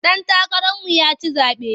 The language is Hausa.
Ɗan takararmu ya ci zaɓe.